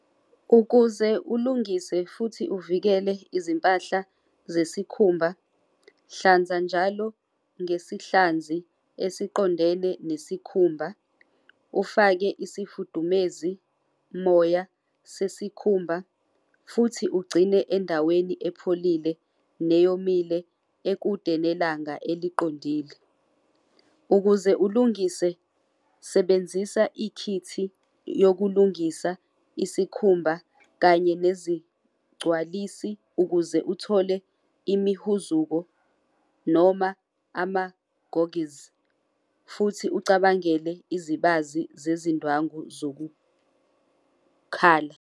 Ukuze ulungise futhi uvikele izimpahla zesikhumba, hlanza njalo ngesihlanzi esiqondene nesikhumba, ufake isifudumezi moya sesikhumba futhi ugcine endaweni epholile neyomile ekude nelanga eliqondile. Ukuze ulungise sebenzisa ikhithi yokulungisa isikhumba kanye nezigcwalisi ukuze uthole imihuzuko noma amagogizi futhi ucabangele izibazi zezindwangu zokukhala.